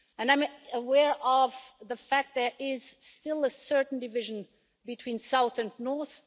I'm aware of the fact that there is still a certain division between south and north.